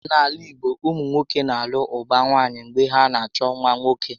N'ala igbo, ụmụnwoke na alụ ụba nwaanyị mgbe ha na achọ nwa nwoke